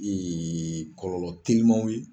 kɔlɔlɔ telimanw ye.